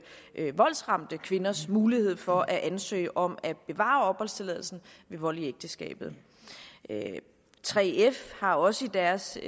voldsramte kvinders mulighed for at ansøge om at bevare opholdstilladelsen ved vold i ægteskabet 3f har også i deres